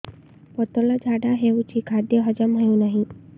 ପତଳା ଝାଡା ହେଉଛି ଖାଦ୍ୟ ହଜମ ହେଉନାହିଁ